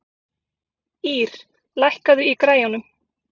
Ýr, lækkaðu í græjunum.